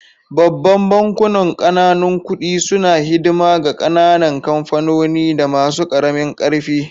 Babban bankunan ƙananan kuɗi suna hidima ga ƙananan kamfanoni da masu karamin karfi.